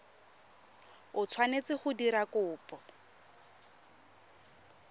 o tshwanetseng go dira kopo